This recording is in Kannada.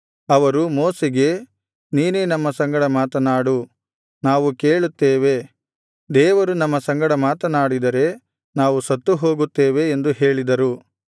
ಅವರು ಮೋಶೆಗೆ ನೀನೇ ನಮ್ಮ ಸಂಗಡ ಮಾತನಾಡು ನಾವು ಕೇಳುತ್ತೇವೆ ದೇವರು ನಮ್ಮ ಸಂಗಡ ಮಾತನಾಡಿದರೆ ನಾವು ಸತ್ತು ಹೋಗುತ್ತೇವೆ ಎಂದು ಹೇಳಿದರು